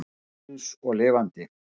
Maður guðs og lifandi.